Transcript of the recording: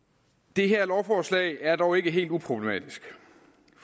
det her lovforslag er dog ikke helt uproblematisk